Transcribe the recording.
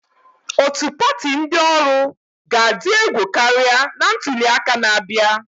Otu pati ndị ọrụ ga-adị egwu karịa na ntuli aka na-abịa.